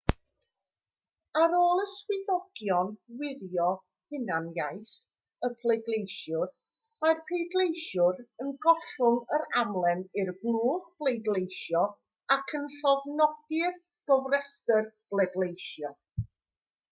ar ôl i swyddogion wirio hunaniaeth y pleidleisiwr mae'r pleidleisiwr yn gollwng yr amlen i'r blwch pleidleisio ac yn llofnodi'r gofrestr bleidleisio